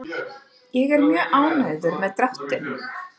Ég er mjög ánægður með dráttinn.